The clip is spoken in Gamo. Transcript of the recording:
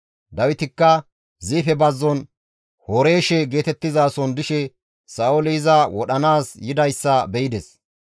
Dawitikka Ziife bazzon Horeeshe geetettizason dishe Sa7ooli iza wodhanaas yidayssa be7ides.